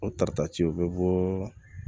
O tarita ci o be bɔɔ